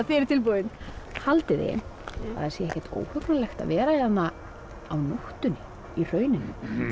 þið eruð tilbúin haldið þið að sé ekkert óhugnanlegt að vera hérna á nóttunni í hrauninu